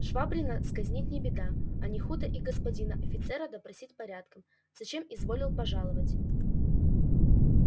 швабрина сказнить не беда а не худо и господина офицера допросить порядком зачем изволил пожаловать